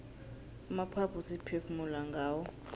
amaphaphu siphefumula ngawo